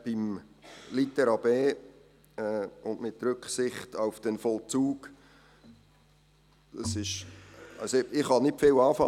Zu Litera b und «mit Rücksicht auf den Vollzug»: Damit kann ich nicht viel anfangen.